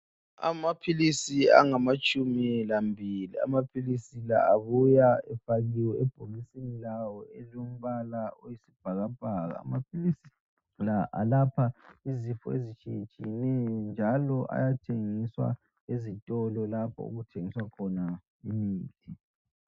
Amaphilisi angamatshumi lambili amaphilisi la abuya efakiwe ebhokisini lawo elilombala oyisibhakabhaka amaphilisi la alapha izifo ezitshiyetshiyeneyo njalo ayathengiswa ezitolo lapho okuthengiswa khona imithi.